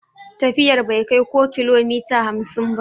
Tafiyar bai kai ko kilomita hamsin ba.